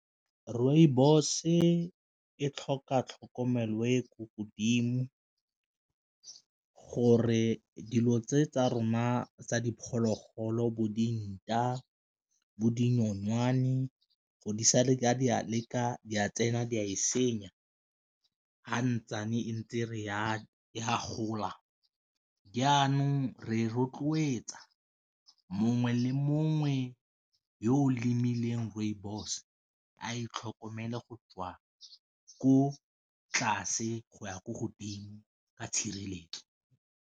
Rooibos-e e tlhoka tlhokomelo e ko godimo gore dilo tse tsa rona tsa diphologolo bo dinta, bo dinokwane gore di sa le di a leka di a tsena di a e senya. Fa ntse re a a gola jaanong re rotloetsa mongwe le mongwe yo o lemileng rooibos a itlhokomele go tswa ko tlase go ya ko godimo ka tshireletso.